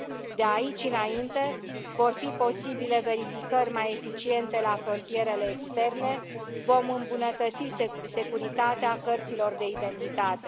De aici înainte, vor fi posibile verificări mai eficiente la frontierele externe, vom îmbunătăți securitatea cărților de identitate.